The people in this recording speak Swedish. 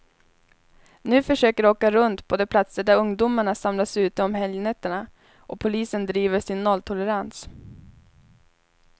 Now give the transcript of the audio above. Nu försöker de åka runt på de platser där ungdomarna samlas ute om helgnätterna, och polisen driver sin nolltolerans.